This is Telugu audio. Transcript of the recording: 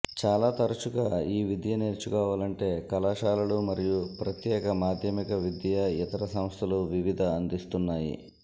చాలా తరచుగా ఈ విద్య నేర్చుకోవాలంటే కళాశాలలు మరియు ప్రత్యేక మాధ్యమిక విద్యా ఇతర సంస్థలు వివిధ అందిస్తున్నాయి